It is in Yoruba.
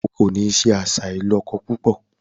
O kò ní se àṣà ìlọ́kọ púpọ̀!